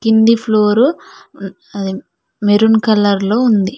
కింది floor maroon colour లో ఉంది.